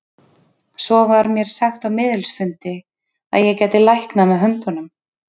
Svo var mér sagt á miðilsfundi að ég gæti læknað með höndunum.